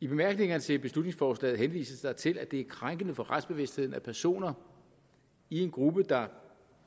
i bemærkningerne til beslutningsforslaget henvises der til at det er krænkende for retsbevidstheden at personer i en gruppe der